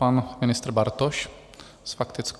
Pan ministr Bartoš s faktickou.